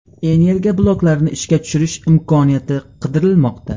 Energiya bloklarini ishga tushirish imkoniyati qidirilmoqda.